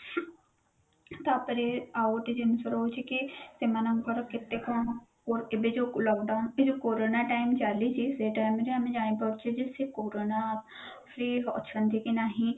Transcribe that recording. ତା ପରେ ଆଉ ଗୋଟେ ଜିନିଷ ରହୁଛି କି ସେମାନଙ୍କର କେତେ କଣ code ଏବେ ଯୋଉ lockdown ଏଇ ଯୋଉ କୋରୋନା time ଚାଲିଛି ସେ time ରେ ଆମେ ଜାଣିପାରୁଛେ ଯେ ସେ କୋରୋନା free ଅଛନ୍ତି କି ନାହିଁ